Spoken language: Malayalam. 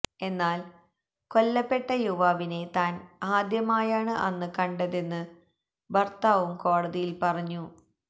എന്നാല് കൊല്ലപ്പെട്ട യുവാവിനെ താന് ആദ്യമായാണ് അന്ന് കണ്ടെതെന്ന് ഭര്ത്താവും കോടതിയില് പറഞ്ഞു